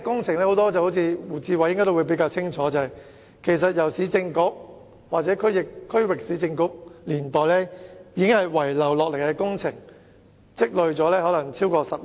胡志偉議員可能比較清楚，這些工程大都是市政局或區域市政局遺留下來的工程，可能已拖了超過10年。